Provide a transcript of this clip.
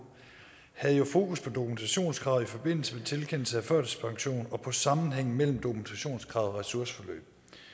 havde jo fokus på dokumentationskravet i forbindelse med tilkendelse af førtidspension og på sammenhængen mellem dokumentationskrav og ressourceforløb